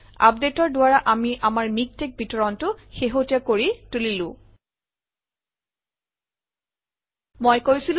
আপডেটৰ দ্বাৰা আমি আমাৰ মিকটেক্স বিতৰণটো শেহতীয়া কৰি তুলিলো